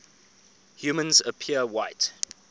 humans appear white